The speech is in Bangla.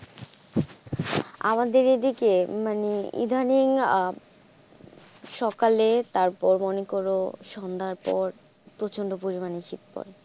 আমাদের এই দিকে মানে enthusing সকালে তারপর মনে করো সন্ধ্যার পর প্রচন্ড পরিমানে শীত পড়ে।